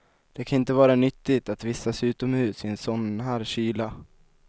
Det kan inte vara nyttigt att vistas utomhus i sådan här kyla.